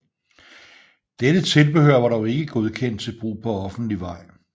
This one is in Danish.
Dette tilbehør var dog ikke godkendt til brug på offentlig vej